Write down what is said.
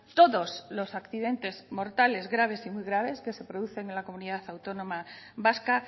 todos los accidentes mortales graves y muy graves que se producen en la comunidad autónoma vasca